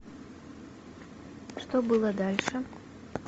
что было дальше